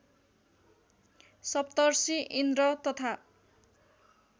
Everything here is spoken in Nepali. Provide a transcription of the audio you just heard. सप्तर्षि इन्द्र तथा